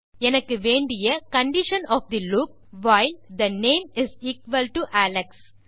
எனக்கு வேண்டிய condition of the loop while the name Alex